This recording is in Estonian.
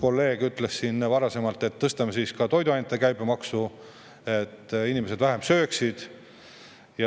Selle kohta ütles siin üks kolleeg, et tõstame siis ka toiduainete käibemaksu, et inimesed vähem sööksid.